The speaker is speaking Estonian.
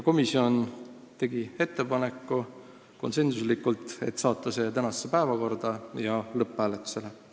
Komisjon tegi konsensuslikult ettepaneku võtta see eelnõu tänasesse päevakorda ja panna lõpphääletusele.